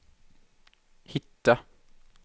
hitta